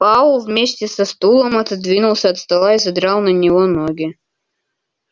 пауэлл вместе со стулом отодвинулся от стола и задрал на него ноги